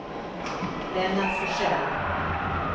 Lennart Forsell